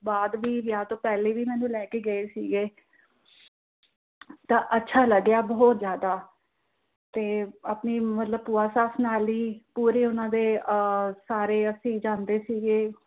ਬਾਅਦ ਵੀ ਤੇ ਪਹਿਲੇ ਵੀ ਮੈਂਨੂੰ ਲੈ ਕਿ ਗਏ ਸੀ ਗਏ । ਤਾਂ ਅੱਛਾ ਲੱਗਿਆ ਬਹੁਤ ਜ਼ਿਆਦਾ, ਤੇ ਆਪਣੀ ਭੂਆ ਸੱਸ ਨਾਲ ਹੀ ਪੂਰੀ ਉਹਨਾਂ ਦੇ ਸਾਰੇ ਅਸੀਂ ਜਾਂਦੇ ਸੀ ਗਏ।